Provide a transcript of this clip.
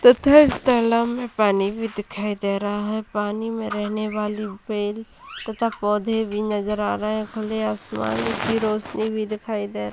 तथा इस तालाब मे पानी भी दिखाई दे रहा हैं पानी में रहने वाली पेड़ तथा पौधे भी नजर आ रहे हैं खुले आसमान की रोशनी भी दिखाई दे --